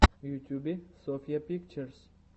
в ютюбе софья пикчерз